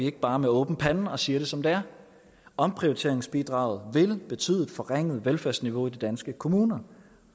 ikke bare med åben pande og siger det som det er omprioriteringsbidraget vil betyde forringet velfærdsniveau i de danske kommuner